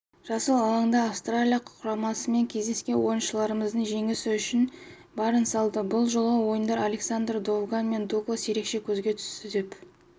жасыл алаңда австралия құрамасымен кездескен ойыншыларымыз жеңіс үшін барын салды бұл жолғы ойында александр довгань мен дуглас ерекше көзге түсті деп